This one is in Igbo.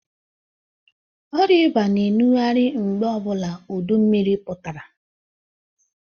Ọrịa ịba na enughari mgbe ọbụla udu mmiri pụtara.